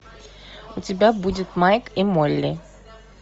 у тебя будет майк и молли